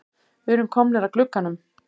Við erum komnir að glugganum.